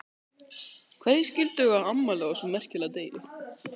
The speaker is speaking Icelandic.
Hverjir skildu eiga afmæli á þessum merkilega degi?